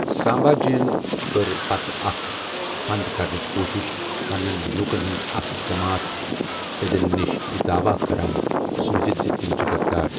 سامبھا جِین کٔر پتہٕ اکھ فند کرنٕچ کوشِش ، پننین لوٗکن ہنز اکھ جماتھ سِدھین نِش یہِ داعوا کران سوٗزِتھ زِ تِم چھِ غدار ۔